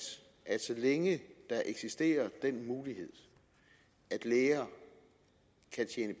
at så længe der eksisterer den mulighed at